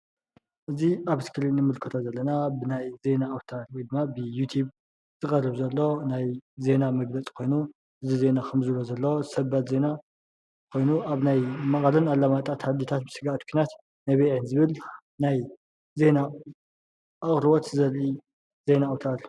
እዚ ኣብ እስክሪን ንምልከቶ ዘለና ብናይ ዜና ኣዉታር ዝብሃል ብዩቲብ ዝቀርብ ዘሎ ናይ ዜና መግለፂ ኮይኑ እዚ ዜና ከም ዝርአ ዘሎ ሰበር ዜና ኮይኑ ኣብ ናይ መቐለን ኣላማጣን ስግኣት ኲናት ነቢዐ ዝብል ናይ ዜና ኣቕርቦት ዘርኢ ናይ ዜና ኣዉታር እዩ።